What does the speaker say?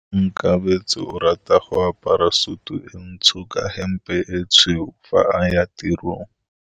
Onkabetse o rata go apara sutu e ntsho ka hempe e tshweu fa a ya tirong.